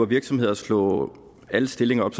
virksomheder at slå alle stillinger op